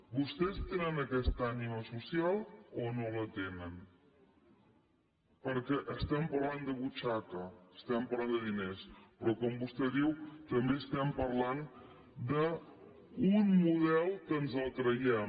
vostès tenen aquesta ànima social o no la tenen perquè parlem de butxaca parlem de diners però com vostè diu també parlem d’un model que ens el creiem